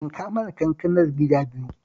Yanka mana kankanar gida biyu